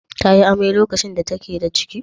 Ta yi amai lokacin da take da ciki?